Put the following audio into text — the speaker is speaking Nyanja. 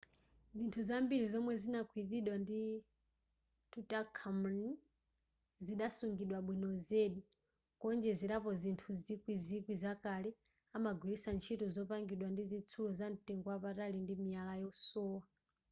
zinthu zambiri zomwe zinakwililidwa ndi tutankhamun zidasungidwa bwino zedi kuonjezerapo zinthu zikwizikwi zakale amagwilitsa ntchito zopangidwa ndi zitsulo za mtengo wapatali ndi miyala yosowa